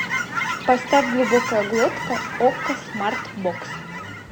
поставь глубокая глотка окко смарт бокс